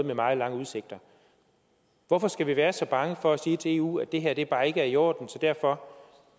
har meget lange udsigter hvorfor skal vi være så bange for at sige til eu at det her bare ikke er i orden så derfor